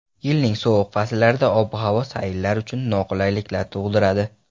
Yilning sovuq fasllarida ob-havo sayrlar uchun noqulaylik tug‘diradi.